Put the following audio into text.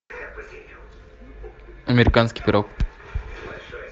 американский пирог